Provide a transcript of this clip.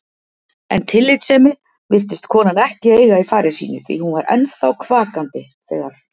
En tillitssemi virtist konan ekki eiga í fari sínu því hún var ennþá kvakandi þegar